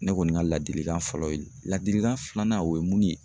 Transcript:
Ne kɔni ka ladilikan fɔlɔ ye ladilikan filanan o ye mun ye?